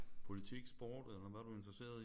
Politik sport eller hvad er du interesseret i?